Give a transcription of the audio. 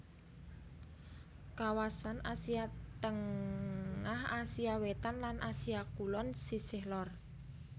Kawasan Asia Tengah Asia Wétan lan Asia Kulon sisih lor